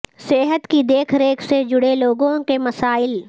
صحت کی دیکھ ریکھ سے جڑے لوگوں کے مسائل